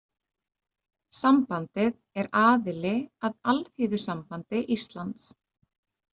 Sambandið er aðili að Alþýðusambandi Íslands.